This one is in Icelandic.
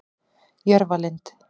Jörfalind